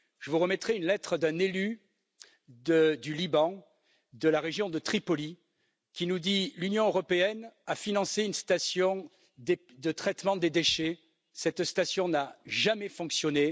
Je vous remettrai une lettre d'un élu du Liban, de la région de Tripoli, qui nous apprend que l'Union européenne a financé une station de traitement des déchets qui n'a jamais fonctionné.